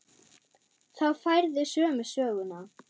Þá færðu sömu söguna.